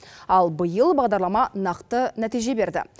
ал биыл бағдарлама нақты нәтиже берді